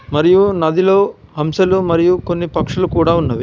మరియు నదిలో హంసలు మరియు కొన్ని పక్షులు కూడా ఉన్నవి.